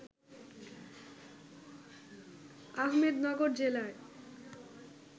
আহমেদনগর জেলার